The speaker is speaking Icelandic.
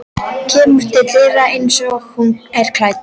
Kemur til dyranna einsog hún er klædd.